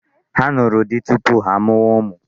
Ha nụrụ di tupu ha amụwa ụmụ.